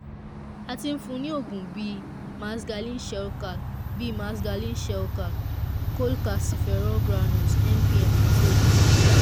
a ti fún un ní oògùn bíi maxgalin shelcal bíi maxgalin shelcal cholcalciferol granules mpm àti oògùn mcam